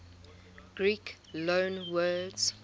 greek loanwords